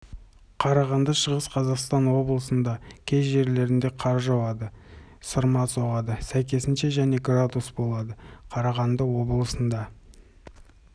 қарағанды шығыс қазақстан облысында кей жерлерінде қар жауады сырма соғады сәйкесінше және градус болады қарағанды облысында